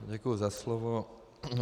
Děkuji za slovo.